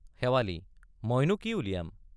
শেৱালি—মইনো কি উলিয়াম।